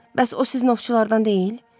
Bəs o siz ovçulardan deyil?